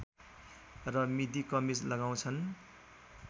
र मिडी कमिज लगाउँछन्